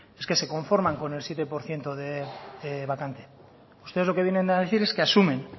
es que se conforman con el siete por ciento de vacante ustedes lo que vienen a decir es que asumen